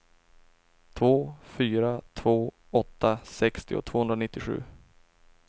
två fyra två åtta sextio tvåhundranittiosju